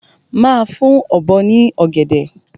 Máa fún Ọ̀bọ ní ọ̀gẹ̀dẹ̀!